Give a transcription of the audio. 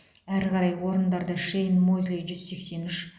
әрі қарай орындарды шейн мозли жүз сексен үш